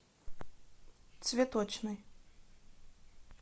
цветочный